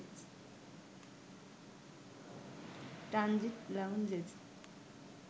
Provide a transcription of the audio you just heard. transit লাউঞ্জে